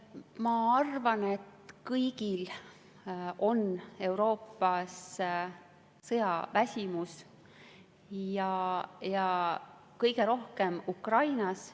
Ma arvan, et kõigil on Euroopas sõjaväsimus ja kõige rohkem Ukrainas.